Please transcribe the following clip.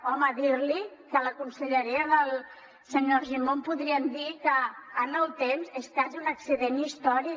home dir li que la conselleria del senyor argimon podríem dir que en el temps és quasi un accident històric